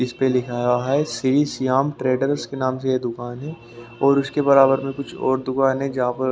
इस पे लिखा हुआ है श्री श्याम ट्रेडर्स के नाम से ये दुकान है और उसके बराबर में कुछ और दुकान है जहाँ पर--